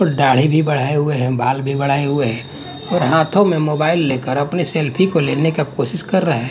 दाढ़ी भी बढ़ाए हुए हैं बाल बढ़ाए हुए हैं और हाथों में मोबाइल लेकर अपनी सेल्फी को लेने का कोशिश कर रहे--